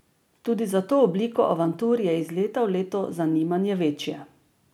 Tudi za to obliko avantur je iz leta v leto zanimanje večje.